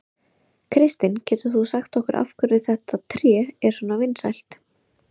Kristinn, getur þú sagt okkur af hverju þetta tré er svona vinsælt?